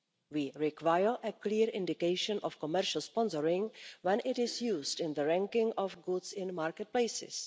We require a clear indication of commercial sponsoring when it is used in the ranking of goods in market places.